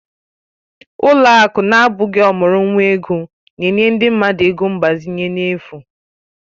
Ụlọ akụ na-abụghị ọmụrụ nwa ego na-enye ndị mmadụ ego mgbazinye n'efu